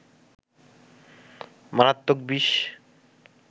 মারাত্মক বিষ